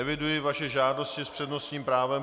Eviduji vaše žádosti s přednostním právem.